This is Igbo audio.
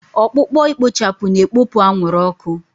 Ọkpụkpọ ikpochapụ na-ekpopụ anwụrụ ọkụ.